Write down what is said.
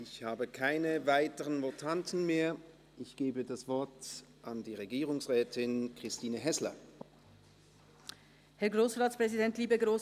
Ich habe keine weiteren Votanten mehr und gebe das Wort Regierungsrätin Christine Häsler.